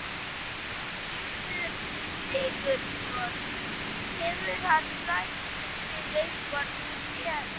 Gissur Sigurðsson: Hefur hann rætt við þig eitthvað nú þegar?